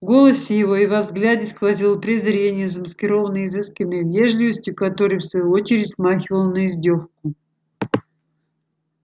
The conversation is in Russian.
в голосе его и во взгляде сквозило презрение замаскированное изысканной вежливостью которая в свою очередь смахивала на издёвку